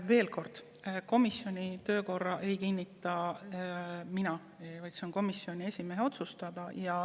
Veel kord: esiteks, komisjoni töökorda ei kinnita mina, vaid see on komisjoni esimehe otsustada.